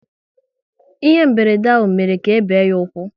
Ihe mberede ahụ mere ka ebe ya ụkwụ